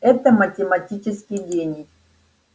это математический гений